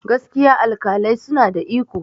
gaskiya alƙalai suna da iko